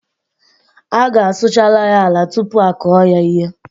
A gá a sụchariri ala tupu a kụọ ya ihe